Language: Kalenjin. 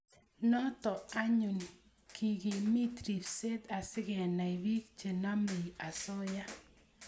Noto anyun kekikimit ribset asikenai bik chenomei osoya